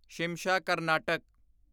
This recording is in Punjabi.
ਸ਼ਿਮਸ਼ਾ ਕਰਨਾਟਕ